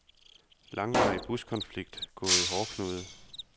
Langvarig buskonflikt gået i hårdknude.